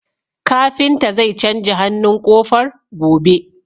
Kafinta zai canja hannun ƙofar, gobe.